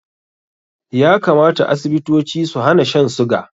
Ya kamata Asibitoci su hana shan suga